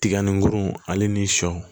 Tiga nun ale ni sɔ